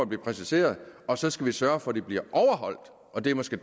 bliver præciseret og så skal vi sørge for at de bliver overholdt og det er måske